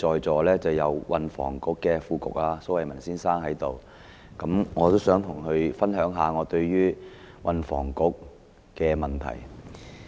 我看到運輸及房屋局副局長蘇偉文先生在席，我想與他分享一下我對運輸及房屋局的意見。